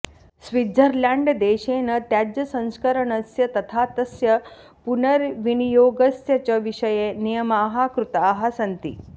स्विट्झर्ल्याण्ड्देशेन त्याज्यसंस्करणस्य तथा तस्य पुनर्विनियोगस्य च विषये नियमाः कृताः सन्ति